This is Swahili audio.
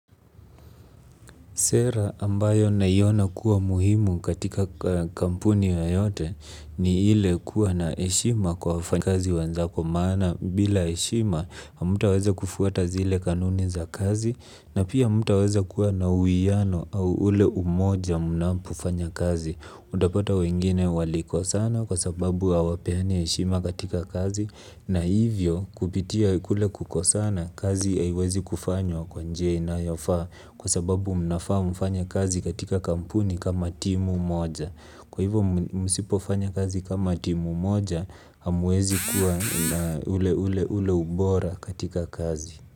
Sera ambayo naiona kuwa muhimu katika kampuni yoyote ni ile kuwa na heshima kwa wafanyakazi wenzako maana bila heshima hamtaweza kufuata zile kanuni za kazi na pia hamtaweza kuwa na uwiano au ule umoja mnapofanya kazi. Utapata wengine walikosana kwa sababu hawapeani heshima katika kazi na hivyo kupitia kule kukosana kazi haiwezi kufanywa kwa njia inayofaa kwa sababu mnafaa mfanye kazi katika kampuni kama timu moja. Kwa hivyo msipofanya kazi kama timu moja hamwezi kuwa na ule ule ule ubora katika kazi.